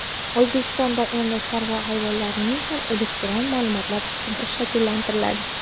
O‘zbekistonda endi chorva hayvonlarining ham elektron ma’lumotlar tizimi shakllantiriladi.